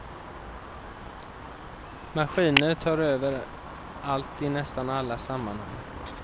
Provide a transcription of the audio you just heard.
Maskiner tar över allt i nästan alla sammanhang.